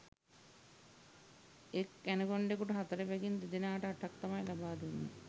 එක් ඇනකොන්ඩකුට හතර බැගින් දෙදෙනාට අටක් තමයි ලබාදුන්නේ